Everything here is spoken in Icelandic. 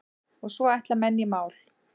Og svo ætla menn í mál.